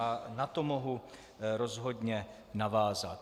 A na to mohu rozhodně navázat.